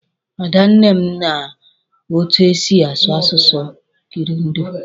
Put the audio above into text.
Ada nne m ma etu e si asụ asụsụ Kirundi.